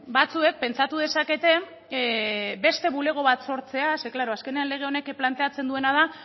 batzuek pentsatu dezakete beste bulego bat sortzea zeren klaro azkenean lege honek planteatzen duena da